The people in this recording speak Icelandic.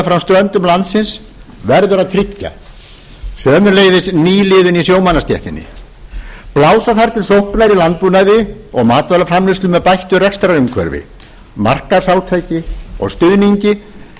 meðfram ströndum landsins verður að tryggja sömuleiðis nýliðun í sjómannastéttinni blása þarf til sóknar í landbúnaði og matvælaframleiðslu með bættu rekstrarumhverfi markaðsátaki og stuðningi